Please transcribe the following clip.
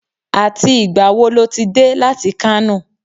Àti ìgbà wo lo ti dé láti Kano?